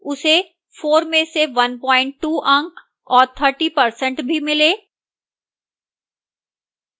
उसे 4 में से 12 अंक और 30% भी मिले